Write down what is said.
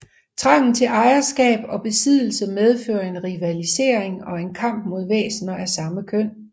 Trangen til ejerskab og besiddelse medfører en rivalisering og en kamp mod væsener af samme køn